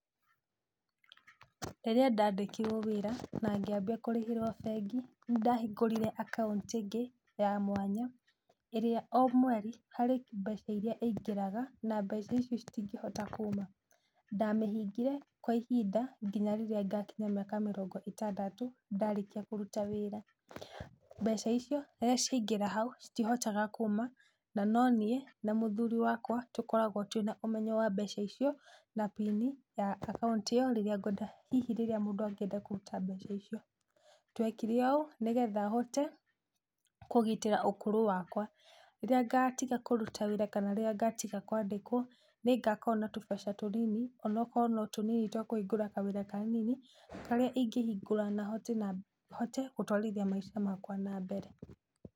Rĩrĩa ndandĩkirwo wĩra na ngĩambia kũrĩhĩrwo bengi, nĩndahingorĩre akaunti ĩngĩ ya mwanya, ĩrĩa o mweri harĩ mbeca irĩa ĩingĩraga na mbeca ici citingĩhota kuuma, ndamĩhingire kwa ihinda nginya rĩrĩa ngakinyia mĩaka mĩrongo itandatũ ndarĩkia kũruta wĩra. Mbeca icio rĩrĩa ciaingĩra hau, citihotaga kuuma na no niĩ na mũthuri wakwa tũkoragwo twĩ na ũmenyo wa mbeca icio na pin ya akaunti ĩ yo rĩra ngwenda hihi rĩrĩa mũndũ angĩenda kũruta mbeca icio. Twekire ũũ nĩgetha hote kũgitĩra ũkũrũ wakwa. Rĩrĩa ngatiga kũruta wĩra kana rĩrĩa ngatiga kwandĩkwo nĩngakorwo na tumbeca tũnini, onokorwo no tũnini twa kũhingũra kawĩra kanini, karĩa ingĩhingũra na hote gũtwarithia maica makwa na mbere.